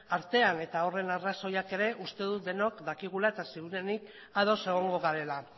artean eta horren arrazoiak ere uste dut denok dakigula eta ziurrenik ados egongo garela